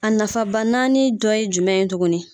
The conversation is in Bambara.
A nafaba naani dɔ ye jumɛn ye tuguni.